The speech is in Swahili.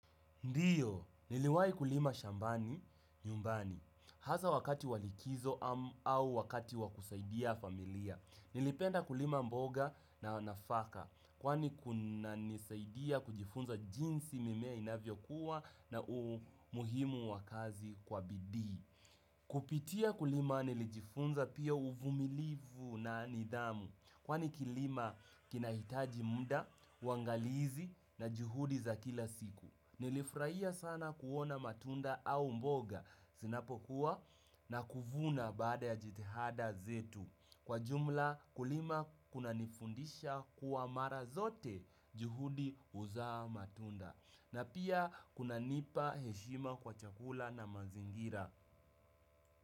Ndio, niliwahi kulima shambani, nyumbani, hasa wakati wa likizo au wakati wakusaidia familia. Nilipenda kulima mboga na nafaka, kwani kunanisaidia kujifunza jinsi mimea inavyo kua na umuhimu wa kazi kwa bidii. Kupitia kulima nilijifunza pia uvumilivu na nidhamu, kwani kilimo kinahitaji muda, waangalizi na juhudi za kila siku. Nilifurahia sana kuona matunda au mboga zinapokua na kuvuna baada ya jitihada zetu. Kwa jumla kulima kuna nifundisha kuwa mara zote juhudi huzaa matunda. Na pia kuna nipa heshima kwa chakula na mazingira.